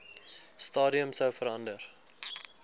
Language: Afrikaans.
stadium sou verander